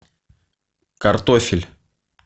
картофель